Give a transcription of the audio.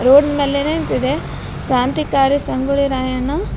road ಮೇಲೆ ನಿಂತಿದೆ ಕ್ರಾಂತಿಕಾರಿ ಸಂಗೊಳ್ಳಿ ರಾಯಣ್ಣ --